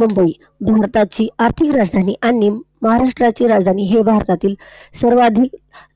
मुंबई, भारताची आर्थिक राजधानी आणि महाराष्ट्राची राजधानी हे भारतातील सर्वात